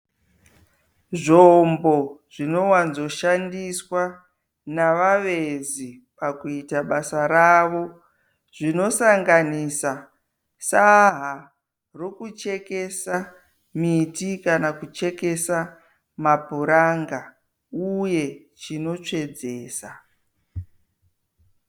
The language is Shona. Zvombo zvinowanzoshandiswa navavezi pakuita basa ravo. Zvinosanganisa saha rokuchekesa miti kana kuchekesa mapuranga uye chinotsvedzesa.